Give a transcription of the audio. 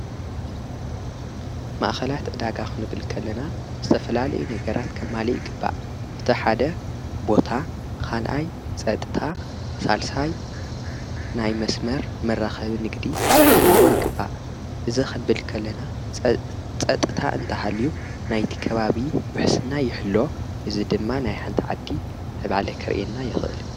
ማእኸላት ዕዳጋ ኽንብል ከለና ዝተፈላልዩ ነገራት ከማልእ ይግባእ፡፡ እቲ ሓደ ቦታ፣ ካልኣይ ፀጥታ፣ ሣልሳይ ናይ መስመር መራኸብን ጊድን ክህልዎ ይግባእ፡፡ እዚ ኽንብል ከለና ፀጥታ እንተሃልዩ ናይቲ ከባቢ ውሕስና ይሕሎ፣ እዚ ድማ ናይ ሓንቲ ዓዲ ምዕባለ ከርእየና ይኽእል፡፡